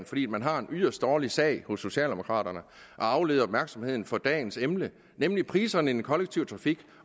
fordi man har en yderst dårlig sag hos socialdemokraterne at aflede opmærksomheden fra dagens emne nemlig priserne i den kollektive trafik